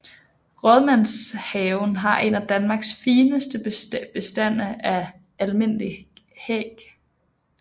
Rådmandshaven har en af Danmarks fineste bestande af almindelig hæg